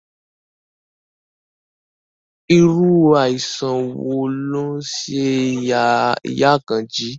Irú àìsàn wo ló ń ṣe ìyá Àkànjí?